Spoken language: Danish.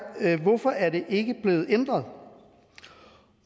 hvorfor er det ikke blevet ændret